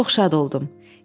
Mən çox şad oldum.